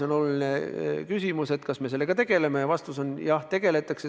On oluline küsimus, kas sellega tegeletakse, ja vastus on: jah, tegeletakse.